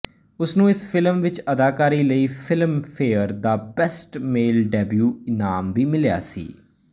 ਉਸਨੂੰ ਇਸ ਫ਼ਿਲਮ ਵਿੱਚ ਅਦਾਕਾਰੀ ਲਈ ਫ਼ਿਲਮਫੇਅਰ ਦਾ ਬੈਸਟ ਮੇਲ ਡੈਬਿਊ ਇਨਾਮ ਵੀ ਮਿਲਿਆ ਸੀ